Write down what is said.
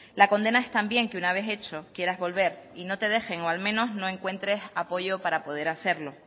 la condena es también que una vez hecho quieras volver y no te dejen o al menos no encuentres apoyo para poder hacerlo